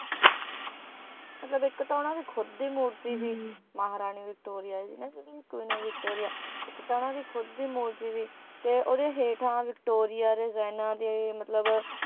ਮਤਲਬ ਇੱਕ ਤਾਂ ਉਨ੍ਹਾਂ ਦੀ ਖੁਦ ਦੀ ਮੂਰਤੀ ਸੀ ਮਹਾਰਾਣੀ ਵਿਕਟੋਰੀਆ ਦੀ ਕਿਉਂਕਿ queen of ਵਿਕਟੋਰੀਆ ਇੱਕ ਤਾਂ ਉਨ੍ਹਾਂ ਦੀ ਖੁਦ ਦੀ ਮੂਰਤੀ ਸੀ ਤੇ ਓਹਦੇ ਹੇਠਾਂ ਵਿਕਟੋਰੀਆ ਰਿਜਾਇਨਾਂ ਦੇ ਮਤਲਬ